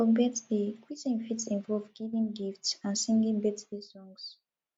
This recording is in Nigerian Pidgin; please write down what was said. for birthday greeting fit involve giving gifts and singing birthday songs